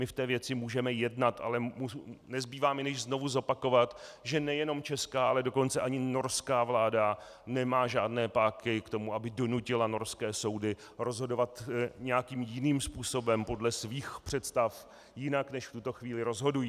My v té věci můžeme jednat, ale nezbývá mi, než znovu zopakovat, že nejenom česká, ale dokonce ani norská vláda nemá žádné páky k tomu, aby donutila norské soudy rozhodovat nějakým jiným způsobem, podle svých představ, jinak, než v tuto chvíli rozhodují.